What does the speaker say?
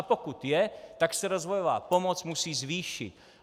A pokud je, tak se rozvojová pomoc musí zvýšit.